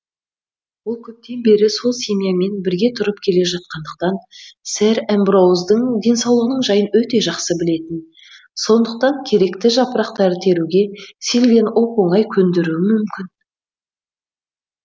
ол көптен бері сол семьямен бірге тұрып келе жатқандықтан сэр эмброуздың денсаулығының жайын өте жақсы білетін сондықтан керекті жапырақтарды теруге сильвияны оп оңай көндіруі мүмкін